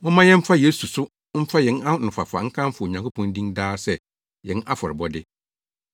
Momma yɛmfa Yesu so mfa yɛn anofafa nkamfo Onyankopɔn din daa sɛ yɛn afɔrebɔde.